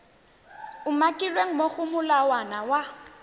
umakilweng mo go molawana wa